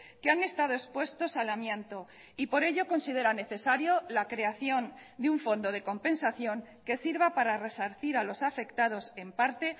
que han estado expuestos al amianto y por ello consideran necesario la creación de un fondo de compensación que sirva para resarcir a los afectados en parte